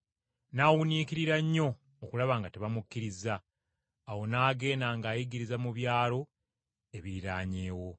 N’awuniikirira nnyo okulaba nga tebamukkirizza. Awo n’agenda ng’ayigiriza mu byalo ebiriraanyeewo.